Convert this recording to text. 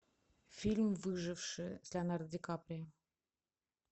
фильм выживший с леонардо ди каприо